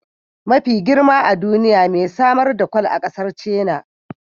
Mafi girma a duniya mai samar da kwal a kasar China